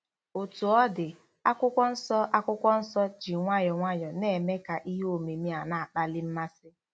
Otú ọ dị, Akwụkwọ Nsọ Akwụkwọ Nsọ ji nwayọọ nwayọọ na-eme ka ihe omimi a na-akpali mmasị.